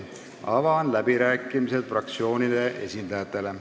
Avan läbirääkimised fraktsioonide esindajatele.